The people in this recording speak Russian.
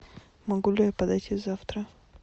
могу ли я подойти завтра